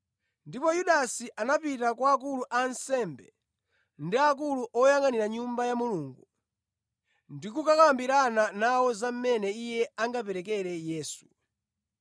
Ndipo Yudasi anapita kwa akulu a ansembe ndi akulu oyangʼanira Nyumba ya Mulungu ndi kukambirana nawo za mmene iye angaperekere Yesu.